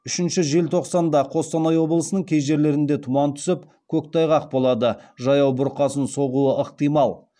үшінші желтоқсанда қостанай облысының кей жерлерінде тұман түсіп көктайғақ болады жаяу бұрқасын соғуы ықтимал